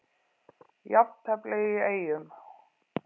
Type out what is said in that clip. Jafntefli í Eyjum